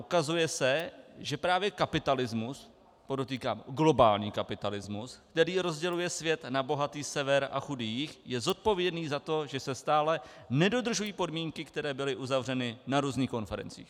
Ukazuje se, že právě kapitalismu, podotýkám globální kapitalismus, který rozděluje svět na bohatý sever a chudý jih, je zodpovědný za to, že se stále nedodržují podmínky, které byly uzavřeny na různých konferencích.